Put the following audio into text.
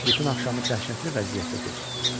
Bütün axşamı dəhşətli vəziyyətdə keçirtdim.